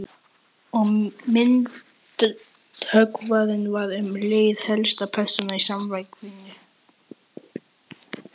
Og myndhöggvarinn varð um leið helsta persónan í samkvæminu.